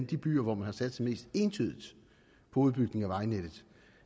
de byer hvor man har satset mest entydigt på udbygning af vejnettet